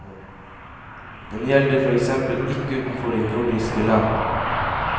Den gjelder for eksempel ikke utenfor de nordiske land.